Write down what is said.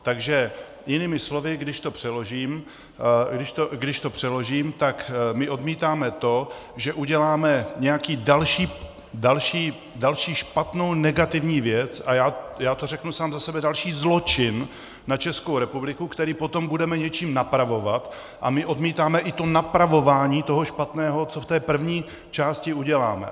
Takže jinými slovy, když to přeložím, tak my odmítáme to, že uděláme nějakou další špatnou, negativní věc, a já to řeknu sám za sebe, další zločin na Českou republiku, který potom budeme něčím napravovat, a my odmítáme i to napravování toho špatného, co v té první části uděláme.